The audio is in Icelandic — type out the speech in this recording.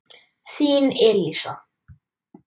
Þín Elísa.